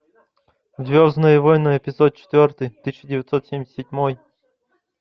звездные войны эпизод четвертый тысяча девятьсот семьдесят седьмой